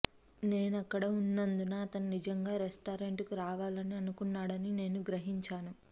నేను అక్కడ ఉన్నందున అతను నిజంగా రెస్టారెంట్కు రావాలని అనుకున్నాడని నేను గ్రహించాను